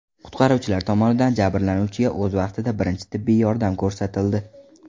Qutqaruvchilar tomonidan jabrlanuvchiga o‘z vaqtida birinchi tibbiy yordam ko‘rsatildi.